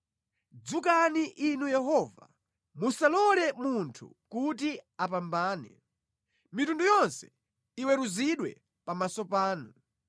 Dzukani Inu Yehova, musalole munthu kuti apambane; mitundu yonse iweruzidwe pamaso panu.